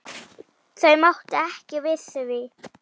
Þau máttu ekki við því.